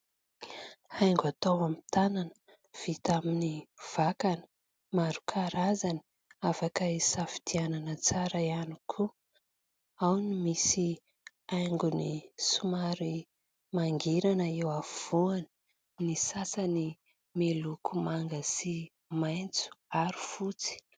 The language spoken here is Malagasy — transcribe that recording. Haingo atao amin'ny tanana vita amin'ny vakana maro karazany, afaka isadianana tsara ihany koa. Ao ny misy haingony somary mangirana eo afovoany, ny sasany miloko manga sy maitso ary fotsy.